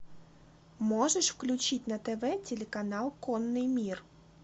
можешь включить на тв телеканал конный мир